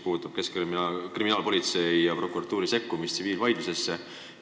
Pean silmas seda Keskkriminaalpolitsei ja prokuratuuri sekkumist tsiviilvaidlusesse.